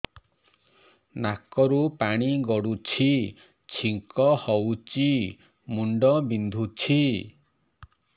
ନାକରୁ ପାଣି ଗଡୁଛି ଛିଙ୍କ ହଉଚି ମୁଣ୍ଡ ବିନ୍ଧୁଛି